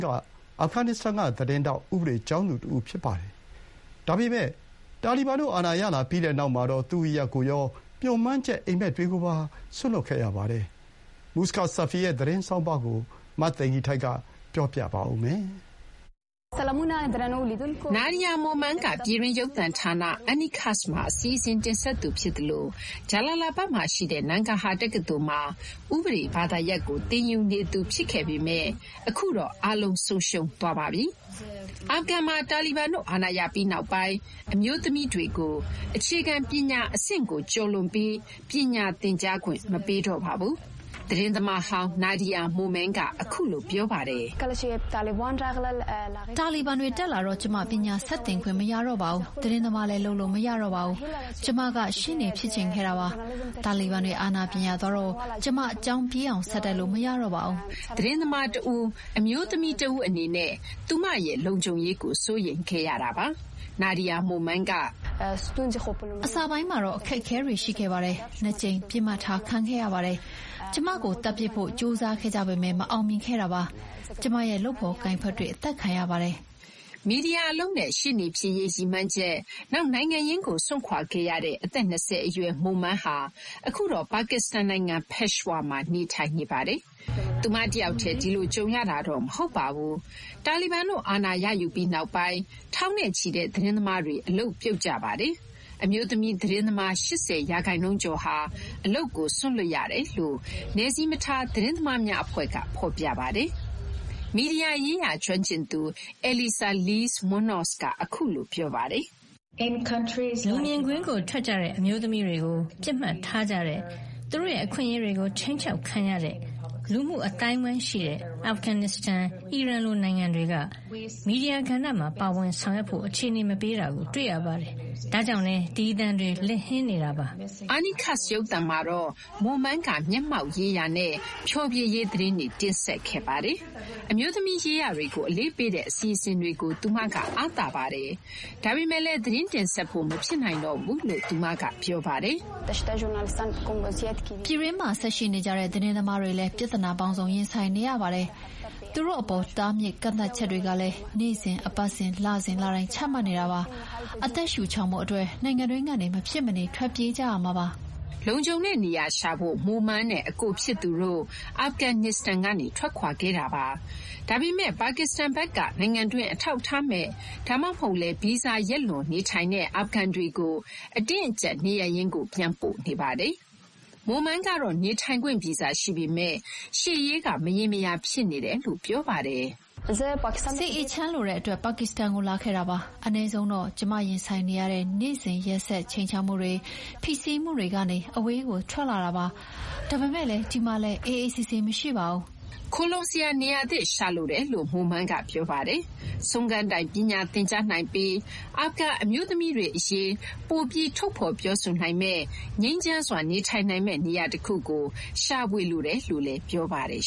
က အာဖဂန်နစ္စတန်က သတင်းထောက်၊ ဥပဒေ ကျောင်းသူ တဦး ဖြစ်ပါတယ်။ ဒါပေမဲ့ တာလီဘန်တို့ အာဏာရလာပြီးနောက်မှာတော့ ဌာနေနဲ့ သူမ မျှော်မှန်းချက် အိပ်မက်တွေကို စွန့်လွှတ်ခဲ့ရပါတယ်။ Muska Safi ရဲ့ သတင်းဆောင်းပါးကို မသိင်္ဂီထိုက်က တင်ပြပေးထားပါတယ်။ Nadia Momand က ပြည်တွင်း ရုပ်သံဌာန Enikass မှာ အစီအစဉ်တင်ဆက်သူဖြစ်သလို ဂျလာလာဘတ်မှာရှိတဲ့ Nangarhar တက္ကသိုလ်မှာ ဥပဒေ ဘာသာရပ်ကို သင်ယူနေသူဖြစ်ခဲ့ပေမဲ့ အခုတော့ အားလုံး ဆုံးရှုံးခဲ့ပါပြီ။ အာဖဂန်မှာ တာလီဘန်တို့ အာဏာရပြီးနောက်ပိုင်း အမျိုးသမီးတွေကို အခြေခံ ပညာအဆင့်ကိုကျော်လွန်ပြီး ပညာသင်ကြားခွင့်မပေးတော့ပါဘူး။ သတင်းသမားဟောင်း Nadia Momand က အခုလို ပြောပါတယ်။ "တာလီဘန်တွေတက်လာတော့ ကျမ ပညာဆက်သင်ခွင့် မရတော့ပါဘူး။ သတင်းသမားလည်း လုပ်လို့မရတော့ပါဘူး။ ကျမက ရှေ့နေတဦး ဖြစ်ချင်ခဲ့တာပါ။ တာလီဘန်တွေ အာဏာပြန်ရသွားတော့ ကျမ ကျောင်းပြီးအောင် ဆက်တက်လို့ မရတော့ပါဘူး။" ပိုဆိုးတာကတော့ သတင်းသမားတဦး၊ အမျိုးသမီးတဦးအနေနဲ့ သူမလုံခြုံရေးကို စိုးရိမ်ခဲ့ရပါတယ်။ Nadia Momand က "အစပိုင်းမှာ အခက်အခဲတွေ ရှိခဲ့ပါတယ်။ ၂ ကြိမ် ပစ်မှတ်ထားခံခဲ့ရပါတယ်။ ကျမကိုသတ်ပစ်ဖို့ ကြိုးစားခဲ့ကြပေမဲ့ မအောင်မြင်ခဲ့တာပါ။ ကျမရဲ့ လုပ်ဖော်ကိုင်ဖက်တွေ အသတ်ခံရပါတယ်။" မီဒီယာအလုပ်နဲ့ ရှေ့နေဖြစ်ရေးရည်မှန်းချက်၊ နောက် နိုင်ငံရင်းကို စွန့်ခွာခဲ့ရတဲ့ အသက် ၂၀ အရွယ် Momand ဟာ အခုတော့ ပါကစ္စတန်နိုင်ငံ Peshawar မှာ နေထိုင်နေပါတယ်။ သူမတယောက်တည်း ဒီလို ကြုံရတာတော့ မဟုတ်ပါဘူး။ တာလီဘန်တို့ အာဏာရယူပြီးနောက်ပိုင်း ထောင်နဲ့ချီတဲ့ သတင်းသမားတွေ အလုပ်ပြုတ်ကြပါတယ်။ အမျိုးသမီး သတင်းသမား ၈၀ ရာခိုင်နှုန်းကျော်ဟာ အလုပ်ကို စွန့်လွှတ်ခဲ့ရတယ်လို့ နယ်စည်းမထား သတင်းသမားများ အဖွဲ့က ဖော်ပြပါတယ်။ မီဒီယာရေးရာ ကျွမ်းကျင်သူ Elisa Lees Munoz က အခုလို ပြောပါတယ်။ "လူမြင်ကွင်းကို ထွက်ကြတဲ့အမျိုးသမီးတွေကို ပစ်မှတ်ထားကြတဲ့၊ သူတို့ အခွင့်အရေးတွေကို ခြိမ်းခြောက်ခံရတဲ့ လူမှု အသိုင်းအဝိုင်းတွေနဲ့ အာဖဂန်နစ္စတန်၊ အီရန်လိုနိုင်ငံတွေက မီဒီယာကဏ္ဍမှာ ပါဝင်ဆောင်ရွက်ဖို့ အခြေအနေ မပေးတာကို တွေ့ရပါတယ်။ ဒါကြောင့်လည်း ဒီ အသံတွေ လစ်ဟင်းနေတာပါ။" Enikass ရုပ်သံမှာတော့ Momand က မျက်မှောက်ရေးရာနဲ့ ဖျော်ဖြေရေး သတင်း တင်ဆက်ခဲ့ပါတယ်။ အမျိုးသမီး ရေးရာတွေကို အလေးပေးတဲ့ အစီအစဉ်တွေကို သူမက အားသာပါတယ်။ ဒါပေမဲ့လည်း သတင်းတင်ဆက်ဖို့ မဖြစ်နိုင်တော့ဘူးလို့ သူမက ပြောပါတယ်။ "အဲဒီမှာ ဆက်ရှိနေကြတဲ့ သတင်းသမားတွေလည်း ပြဿနာပေါင်းစုံ ရင်ဆိုင်နေရပါတယ်။ သူတို့အပေါ် တားမြစ်ကန့်သတ်ချက်တွေကလည်း နေ့စဉ်၊ အပတ်စဉ်၊ လစဉ် လတိုင်း ချမှတ်နေတာပါ။ အသက်ရှုချောင်ဖို့အတွက် နိုင်ငံတွင်းကနေ မဖြစ်မနေ ထွက်ပြေးကြရမှာပါ။" လုံခြုံတဲ့ နေရာရှာဖို့ Momand နဲ့ အကိုဖြစ်သူတို့ အာဖဂန်နစ္စတန်ကနေ ထွက်ခွာခဲ့တာပါ။ ဒါပေမဲ့လည်း ပါကစ္စတန်ဘက်က နိုင်ငံတွင်း အထောက်အထားမဲ့ ဒါမှမဟုတ်လည်း ဗီဇာရက်လွန်နေထိုင်တဲ့ အာဖဂန်တွေကို အတင်းအကျပ် နေရပ်ရင်းကို ပြန်ပို့နေပါတယ်။ Momand ကတော့ နေထိုင်ခွင့် ဗီဇာ ရှိပေမဲ့ ရှေ့ရေးက မရေမရာဖြစ်နေတယ်လို့ ပြောပါတယ်။ "စိတ်အေးချမ်းလိုတဲ့အတွက် ပါကစ္စတန်ကို လာခဲ့တာပါ။ အနည်းဆုံးတော့ ကျမ ရင်ဆိုင်နေရတဲ့ နေ့စဉ်ရက်ဆက် ခြိမ်းခြောက်မှုတွေ၊ ဖိစီးမှုတွေကနေ အဝေးကို ထွက်လာတာပါ။ ဒါပေမဲ့လည်း ဒီမှာလည်း အေးအေးဆေးဆေး မရှိပါဘူး။" ခိုလှုံစရာ နေရာသစ် ရှာလိုတယ်လို့ Momand က ပြောပါတယ်။ ဆုံးခန်းတိုင် ပညာသင်ကြားနိုင်ပြီး အာဖဂန် အမျိုးသမီးတွေအရေး ပိုပြီး ထုတ်ဖော် ပြောဆိုနိုင်မယ့် ငြိမ်းချမ်းစွာ နေထိုင်နိုင်မယ့် နေရာတခုကို ရှာဖွေလိုတယ်လို့ ပြောပါတယ်